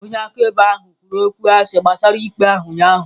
Onye akaebe a kpọrọ kwuru okwụ asị gbasara ikpe ahụ ụnyahụ.